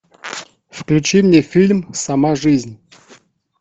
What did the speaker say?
включи мне фильм сама жизнь